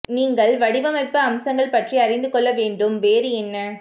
நீங்கள் வடிவமைப்பு அம்சங்கள் பற்றி அறிந்து கொள்ள வேண்டும் வேறு என்ன